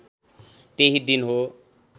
त्यही दिन हो